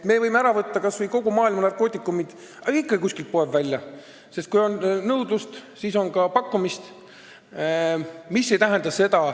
Me võime ära võtta kas või kogu maailma narkootikumid, aga ikkagi kuskilt poeb midagi välja, sest kui on nõudlust, siis on ka pakkumist.